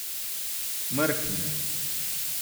Mrknil.